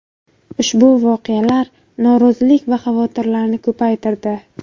Ushbu voqealar norozilik va xavotirlarni ko‘paytirdi.